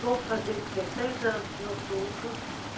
Vou fazer dezeseis anos em outubro.